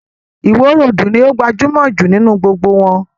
Ìwo roòdù ní o gbajúmọ̀ jù nínú gbogbo wọn.